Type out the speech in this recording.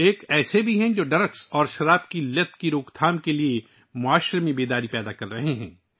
ایک ایسا بھی ہے جو منشیات اور شراب کی لت کی روک تھام کے لیے معاشرے میں بیداری پھیلا رہا ہے